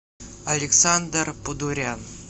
александр подурян